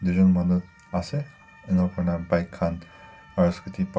jon manu ase enia koina bike khan aru scooty pa--